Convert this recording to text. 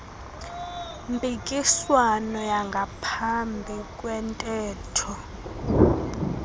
mpikiswano yangaphambi kwentetho